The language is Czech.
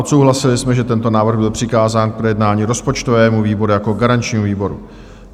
Odsouhlasili jsme, že tento návrh byl přikázán k projednání rozpočtovému výboru jako garančnímu výboru.